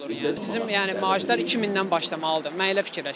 Yəni bizim yəni maaşlar 2000-dən başlamalıdır.